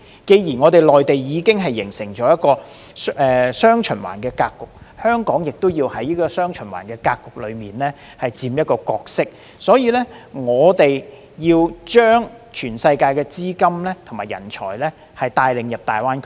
既然內地已經形成"雙循環"格局，香港亦要在"雙循環"格局中佔一個角色，所以我們要將全世界的資金和人才帶領到大灣區。